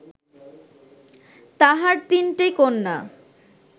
তাঁহার তিনটি কন্যা